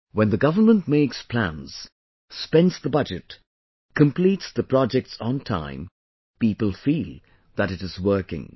when the government makes plans, spends the budget, completes the projects on time, people feel that it is working